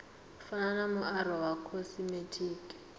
fana na muaro wa khosimetiki